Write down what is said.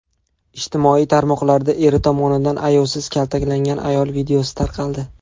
Ijtimoiy tarmoqlarda eri tomonidan ayovsiz kaltaklangan ayol videosi tarqaldi .